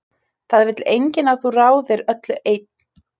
Það vill enginn að þú ráðir öllu einn.